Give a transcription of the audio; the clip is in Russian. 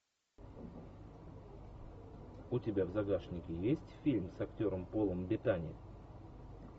у тебя в загашнике есть фильм с актером полом беттани